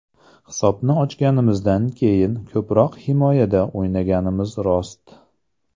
Hisobni ochganimizdan keyin ko‘proq himoyada o‘ynaganimiz rost.